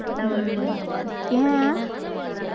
உம் ஏன்